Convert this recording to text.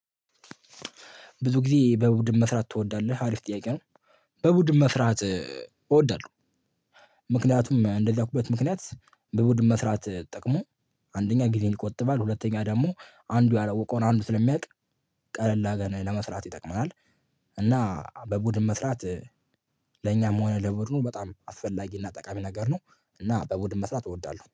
ብዙ ጊዜ በቡድን መስራት ትወዳለህ አሪፍ ጥያቄ ነው። በቡድን መስራት እወዳለሁ፤ ምክንያቱም እንደዚያ ያልኩበት ምክንያት በቡድን መስራት ጥቅሙ አንደኛ ጊዜን ይቆጥባል፤ ሁለተኛ ደግሞ አንዱ ያላወቀውን አንዱ ስለሚያውቅ፤ ቀለል አርገን ለመስራት ይጠቅመናል፤ እና በቡድን መስራት እ ለእኛም ሆነ ለቡድኑ በጣም አስፈላጊና ጠቃሚ ነገር ነው፤ እና በቡድን መስራት እወዳለሁ።